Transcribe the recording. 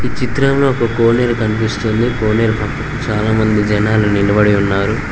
చిత్రంలో ఒక కోనేరు కనిపిస్తుంది కోనేరు పక్కకు చాలామంది జనాలు నిలబడి ఉన్నారు.